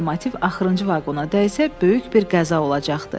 Lokomotiv axırıncı vaqona dəysə, böyük bir qəza olacaqdı.